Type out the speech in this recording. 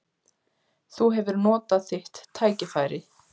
Þú hefur notað þitt tækifæri.